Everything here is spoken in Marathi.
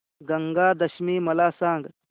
गंगा दशमी मला सांग